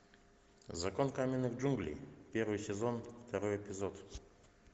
закон каменных джунглей первый сезон второй эпизод